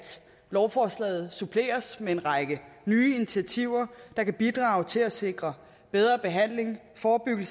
lovforslaget suppleres med en række nye initiativer der kan bidrage til at sikre bedre behandling forebygge